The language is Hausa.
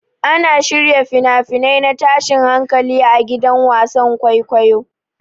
Ana shirya fina-finai na tashin hankali a gidan wasan kwaikwayo.